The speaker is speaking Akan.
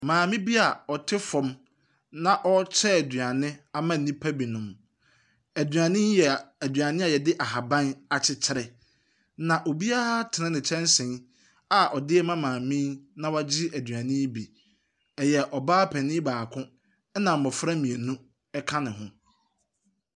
Maame bi ɔte fam na ɔrekyɛ aduane ama nnipa binom. Aduane yi yɛ aduane a yɛde nhaban akyekyere, na obiara atene ne kyɛnse a ɔde rema maame na wagye aduane yi bi. Ɛyɛ ɔbaa panin baako na mmɔfra mmienu ka ne ho.